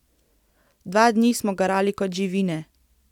Dva dni smo garali kot živine.